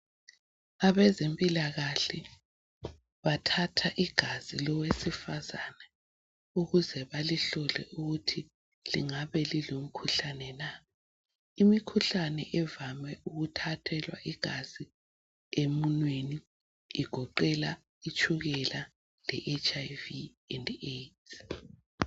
Abezempilakahle bathatha igazi lowesifazana ukuze balihlole ukuthi lingabe lilomkhuhlane na. Imikhuhlane evame ukuthathelwa igazi emunweni igoqela itshukela le"Hiv and Aids".